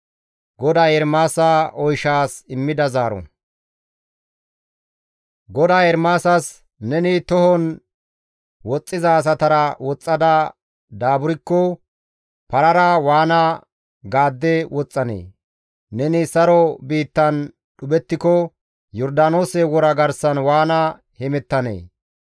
GODAY Ermaasas, «Neni tohon woxxiza asatara woxxada daaburkko parara waana gaadde woxxanee? Neni saro biittan dhuphettiko, Yordaanoose wora garsan waana hemettanee?